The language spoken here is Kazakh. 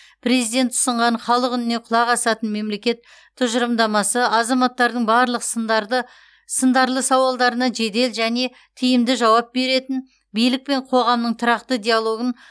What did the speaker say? президент ұсынған халық үніне құлақ асатын мемлекет тұжырымдамасы азаматтардың барлық сындарды сындарлы сауалдарына жедел және тиімді жауап беретін билік пен қоғамның тұрақты диалогын